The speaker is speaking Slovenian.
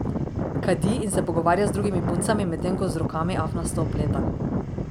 Kadi in se pogovarja z drugimi puncami, medtem ko z rokami afnasto opleta.